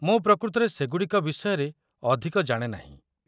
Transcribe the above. ମୁଁ ପ୍ରକୃତରେ ସେ ଗୁଡ଼ିକ ବିଷୟରେ ଅଧିକ ଜାଣେ ନାହିଁ।